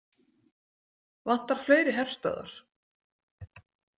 Vantar fleiri herstöðvar?